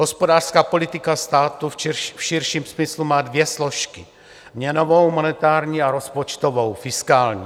Hospodářská politika státu v širším smyslu má dvě složky, měnovou monetární a rozpočtovou fiskální.